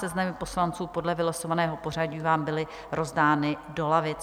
Seznamy poslanců podle vylosovaného pořadí vám byly rozdány do lavic.